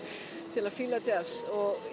til að fíla djass